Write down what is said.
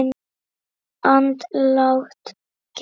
Andlát getur átt við